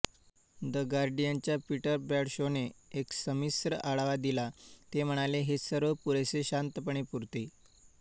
the गार्डियनच्या Peter ब्रॅडशॉने एक संमिश्र आढावा दिला ते म्हणाले हे सर्व पुरेसे शांतपणे पुरते